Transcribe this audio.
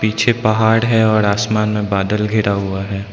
पीछे पहाड़ है और आसमान में बादल घेरा हुआ है।